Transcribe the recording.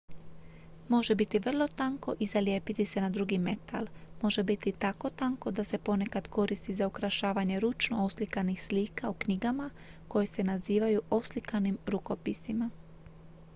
"može biti vrlo tanko i zalijepiti se na drugi metal. može biti tako tanko da se ponekad koristi za ukrašavanje ručno oslikanih slika u knjigama koje se nazivaju "oslikanim rukopisima"".